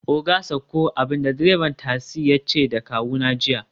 oga sauko!, abinda direban tasi yace da kawuna jiya